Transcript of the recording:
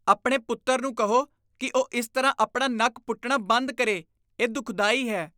ਆਪਣੇ ਪੁੱਤਰ ਨੂੰ ਕਹੋ ਕਿ ਉਹ ਇਸ ਤਰ੍ਹਾਂ ਆਪਣਾ ਨੱਕ ਪੁੱਟਣਾ ਬੰਦ ਕਰੇ। ਇਹ ਦੁਖਦਾਈ ਹੈ।